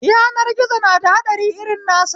Yanar gizo nada haɗari irin nasa